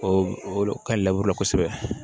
O o ka kosɛbɛ